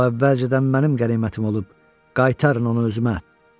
O əvvəlcədən mənim qənimətim olub, qaytarın onu özümə.